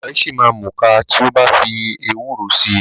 Ọmọ ẹ̀ ṣìma múka tí o bá fi ewúro si.